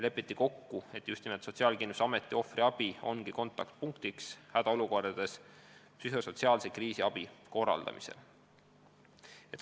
Lepiti kokku, et just nimelt Sotsiaalkindlustusameti ohvriabi ongi kontaktpunktiks hädaolukordades psühhosotsiaalse kriisiabi korraldamisel.